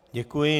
Děkuji.